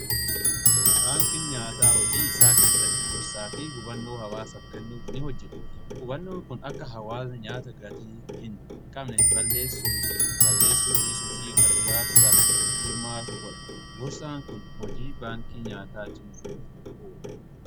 Baankii nyaataa hojii isaa keessatti gorsaa fi hubannoo hawaasaf kennuf ni hojjeta. Hubannoon kun akka hawaasa nyaata gatii hin qabne balleessuu dhiisuu fi gargaarsaaf hirmaatu bo'e gorsaan kun hojii baankii nyaataa cimsuuf uuri